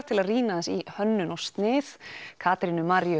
til að rýna í hönnun og snið Katrínu Maríu